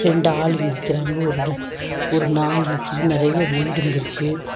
ரெண்டு ஆளு நிக்குறாங்க ஒரு ஒரு நாய் நிக்குது நெறைய வீடுங்க இருக்கு.